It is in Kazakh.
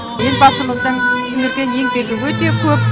елбасымыздың сіңірген еңбегі өте көп